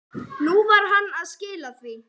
Nú var hann að skila því.